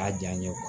A ja n ye